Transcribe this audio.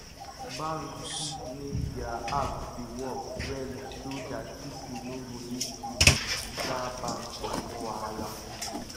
bank fit make their app dey work well so dat pipo no go need to enter bank for small wahala